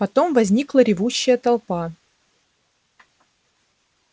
потом возникла ревущая толпа